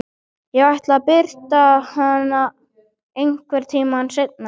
Ég ætla að birta hana einhvern tíma seinna.